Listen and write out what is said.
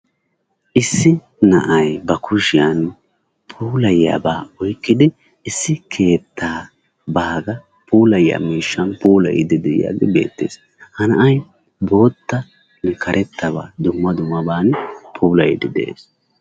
Issi na'ay ba kushshiyan puulayiyabaa oykkidi issi keettaa baaga puulayiyaa mishshaan puulayiidi de'iyaagee beettees. Ha na'ay bootta karetta ba dumma dummabani puulayiidi de'ees.